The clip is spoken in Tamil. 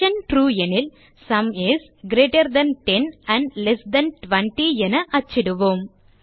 ட்ரூ எனில் sum is greater than 10 and less than 20 என அச்சிடுவோம்